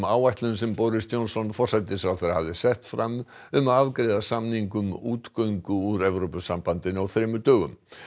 áætlun sem Boris Johnson hafði sett fram um að afgreiða samning um útgöngu úr Evrópusambandinu á þremur dögum